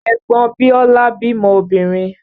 Ẹ̀gbọn Biọ́lá bímọ obìnrin